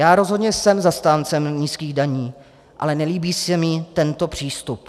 Já rozhodně jsem zastáncem nízkých daní, ale nelíbí se mi tento přístup.